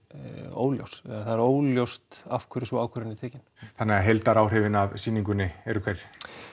óljós eða það er óljóst af hverju sú ákvörðun er tekin þannig að heildaráhrifin af sýningunni eru hver